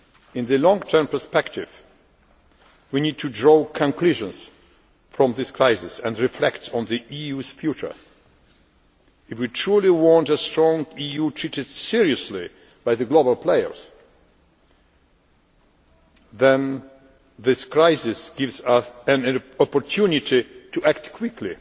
In the long term perspective, we need to draw conclusions from this crisis and reflect on the EU's future. If we truly want a strong EU treated seriously by the global players, then this crisis gives us an opportunity to act quickly.